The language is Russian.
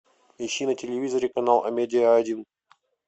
ищи на телевизоре канал амедиа один